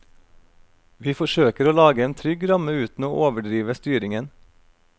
Vi forsøker å lage en trygg ramme uten å overdrive styringen.